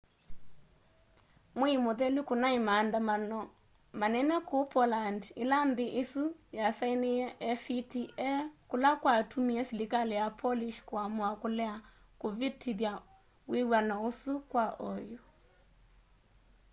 mwei muthelu kunai maandamano manene kuu poland ila nthi isu yasainiie acta kula kwatumie silikali ya polish kuamua kulea kuvitithya wiw'ano usu kwa oyu